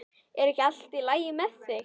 Er ekki allt lagi með þig?